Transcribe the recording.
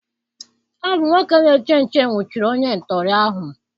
Ọ bụ nwoke na-eche nche nwụchiri onye ntọọrị ahụ.